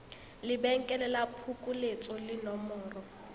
lebenkele la phokoletso le nomoro